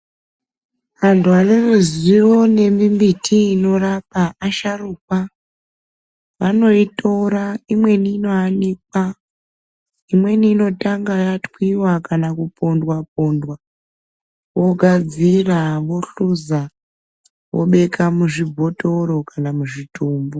Antu aneruzivo nemimbiti inorapa asharukwa vanoitora imweni inoyanokwa imweni inotanga yatwiwa kana kupondwa pondwa vogadzira vohluza vobeka muzvibhotoro kana muzvitombo.